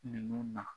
Ninnu na